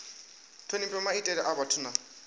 thonifha maitele a vhathu na